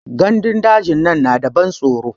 Gandun daji dinnan na da ban tsoro.